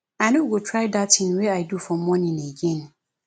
i no go try dat thing wey i do for morning again